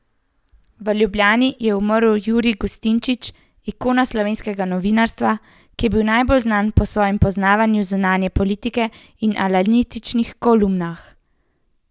V Ljubljani je umrl Jurij Gustinčič, ikona slovenskega novinarstva, ki je bil najbolj znan po svojem poznavanju zunanje politike in analitičnih kolumnah.